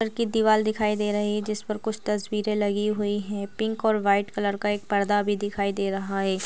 र की दीवार दिखाई दे रही है जिस पर कुछ तस्वीरे लगी हुई है पिंक और वाइट कलर का एक पर्दा भी दिखाई दे रहा हैं।